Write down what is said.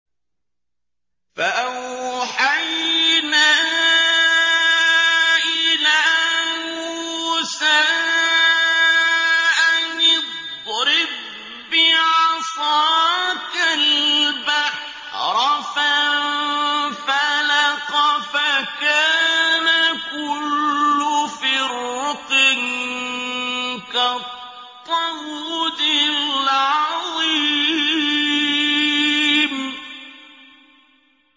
فَأَوْحَيْنَا إِلَىٰ مُوسَىٰ أَنِ اضْرِب بِّعَصَاكَ الْبَحْرَ ۖ فَانفَلَقَ فَكَانَ كُلُّ فِرْقٍ كَالطَّوْدِ الْعَظِيمِ